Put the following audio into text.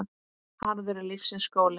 Harður er lífsins skóli.